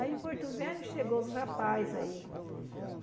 Aí em Porto Velho chegou os rapaz aí.